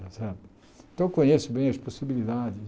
Essa então eu conheço bem as possibilidades.